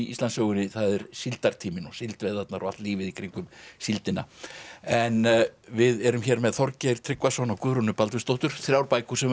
Íslandssögunni það er síldartíminn og síldveiðarnar og allt lífið í kringum síldina en við erum hér með Þorgeir Tryggvason og Guðrúnu Baldvinsdóttur þrjár bækur sem